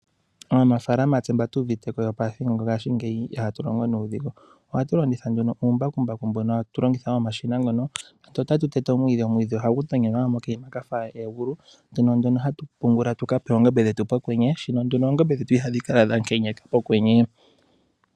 Aanafaalama tse mba tuuviteko yopethimbo lyongashingeyi ihatu longo nuudhigu. Ohatu longitha nduno uumbakumbaku mbono hatu longitha momashina mono tse otatu tete omwiidhi, omwiidhi ohagu tonyenwa mokanima kafa egulu mono hatu pungula tuka pe oongombe dhetu pokwenye. Shino nduno oongombe dhetu ihadhi kala dha kenyeka pokwenye.